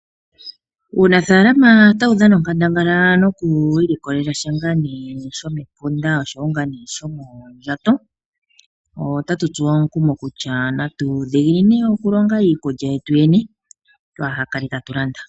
Uunafala otawu dhana onkandangala noku ilikolela sha shomepunda nosho woo shomondjato otatu tsuwa omukumo kutya natu dhiginine okulonga iikulya yetu yene katu kale tatu landa.